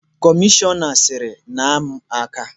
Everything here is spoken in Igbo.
Kọmishọna siiri, naa m aka!